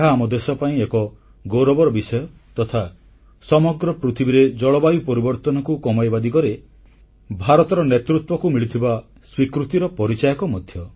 ଏହା ଆମ ଦେଶ ପାଇଁ ଏକ ଗୌରବର ବିଷୟ ତଥା ସମଗ୍ର ପୃଥିବୀରେ ଜଳବାୟୁ ପରିବର୍ତ୍ତନକୁ କମାଇବା ଦିଗରେ ଭାରତର ନେତୃତ୍ୱକୁ ମିଳୁଥିବା ସ୍ୱୀକୃତିର ପରିଚାୟକ ମଧ୍ୟ